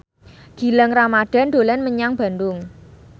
Gilang Ramadan dolan menyang Bandung